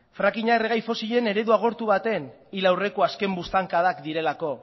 fracking a erregai fosilen eredu agortu baten hil aurreko azken buztankadak direlako